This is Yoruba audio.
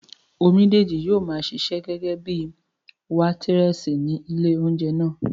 Omídìji yóò maa ṣiṣẹ́ gẹ́gẹ́bíi wétírẹ̀sì ní ilé óúnjẹ náà